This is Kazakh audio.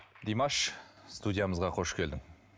димаш студиямызға қош келдің